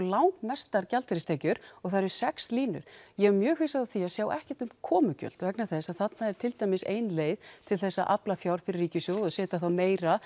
langmestar gjaldeyristekjur og það eru sex línur ég er mjög hissa á því að sjá ekkert um komugjöld vegna þess að þarna er til dæmis ein leið til að afla fjár fyrir ríkissjóð og setja þá meira